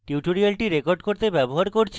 tutorial record করতে ব্যবহার করছি: